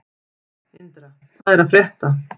Indra, hvað er að frétta?